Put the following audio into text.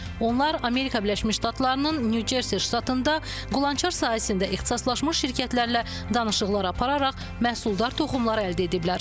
Onlar Amerika Birləşmiş Ştatlarının Nyu-Cersi ştatında qulançar sahəsində ixtisaslaşmış şirkətlərlə danışıqlar apararaq məhsuldar toxumlar əldə ediblər.